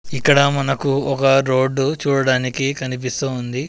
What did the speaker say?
ఇక్కడా మనకు ఒక రోడ్డు చూడడానికి కనిపిస్తూ ఉంది.